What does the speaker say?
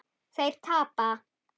Þeir tapa.